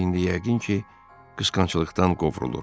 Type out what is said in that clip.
O indi yəqin ki, qısqanclıqdan qovrulur.